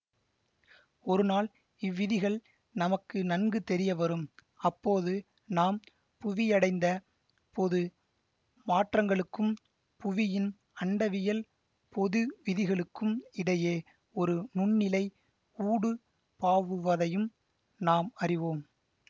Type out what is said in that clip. ஒருநால் இவ்விதிகள் நமக்கு நன்கு தெரியவரும் அப்போது நாம் புவியடைந்த பொது மாற்றங்களுக்கும் புவியின் அண்டவியல் பொதுவிதிகளுக்கும் இடையே ஒரு நுண்ணிழை ஊடுபாவுவதையும் நாம் அறிவோம்